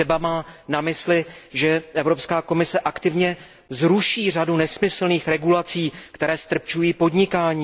Třeba má na mysli, že Evropská komise aktivně zruší řadu nesmyslných regulací, které ztrpčují podnikání.